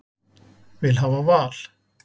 Vil hafa val